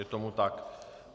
Je tomu tak.